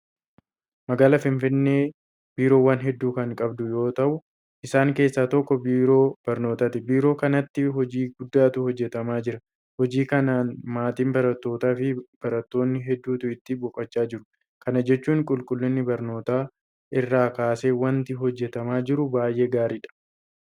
Magaalaan Finfinnee biiroowwan hedduu kan qabdu yoota'u isaan keessaa tokko biiroo barnootaati. Biiroo kanatti hojii guddaatu hojjetamaa jira. Hojii kanaan maatii barattootaafi barattoota hedduutu itti boqochaa jira. Kana jechuun qulqullina barnootaa irraa kaasee waanti hojjetamaa jiru baay'ee gaariidha.